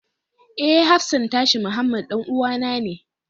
Eh, hafsan tashi Muhammed ɗan'uwana ne.